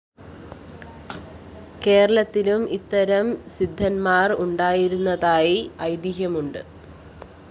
കേരളത്തിലും ഇത്തരം സിദ്ധന്മാര്‍ ഉണ്ടായിരുന്നതായി ഐതിഹ്യമുണ്ട്